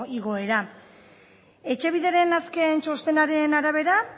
igoera etxebideren azken txostenaren arabera